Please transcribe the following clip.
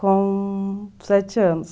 Com sete anos.